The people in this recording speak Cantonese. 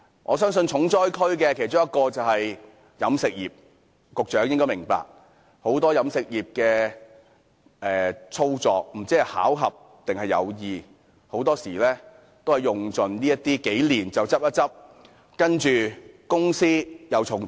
我相信其中一個重災區是飲食業，局長亦應該察覺到，很多飲食業經營者不知道是巧合還是有意，很多時候在經營數年後便會倒閉，然後將公司重組。